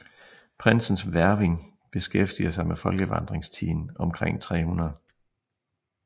Prindsens Hverving beskæftiger sig med folkevandringstiden omkring 300